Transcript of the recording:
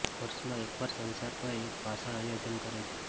વર્ષમાં એક વાર સંસદ પર એક ભાષણ આયોજન કરે છે